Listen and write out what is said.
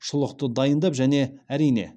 шұлықты дайындап және әрине